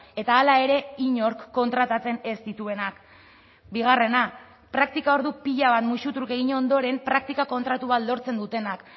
eta hala ere inork kontratatzen ez dituenak bigarrena praktika ordu pila bat musutruk egin ondoren praktika kontratu bat lortzen dutenak